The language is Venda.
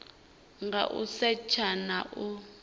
nga u setsha na u